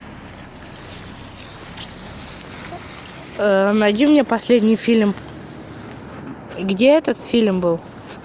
найди мне последний фильм где этот фильм был